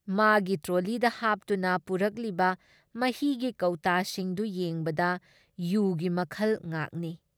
ꯃꯥꯒꯤ ꯇ꯭ꯔꯣꯂꯤꯗ ꯍꯥꯞꯇꯨꯅ ꯄꯨꯔꯛꯂꯤꯕ ꯃꯍꯤꯒꯤ ꯀꯧꯇꯥꯁꯤꯡꯗꯨ ꯌꯦꯡꯕꯗ ꯌꯨꯒꯤ ꯃꯈꯜ ꯉꯥꯛꯅꯤ ꯫